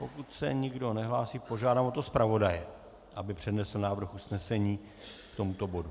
Pokud se nikdo nehlásí, požádám o to zpravodaje, aby přednesl návrh usnesení k tomuto bodu.